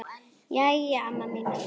Jæja amma mín.